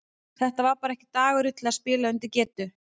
Þetta var bara ekki dagurinn til að spila undir getu.